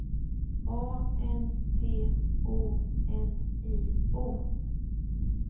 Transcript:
A N T O N I O